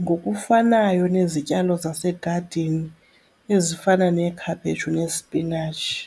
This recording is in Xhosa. ngokufanayo nezityalo zasegazini ezifana neekhaphetshu nesipinatshi.